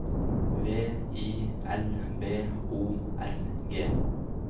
V I L B O R G